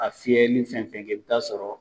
A fiyɛli fɛn fɛn kɛ, i bi taa sɔrɔ